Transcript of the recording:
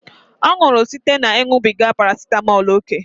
Ọ nwụrụ site na ịṅụbiga parasitamọl ókè